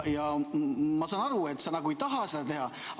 Ma saan aru, et sa nagu ei taha seda teha.